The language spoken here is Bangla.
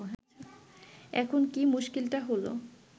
এখন কি মুশকিলটা হল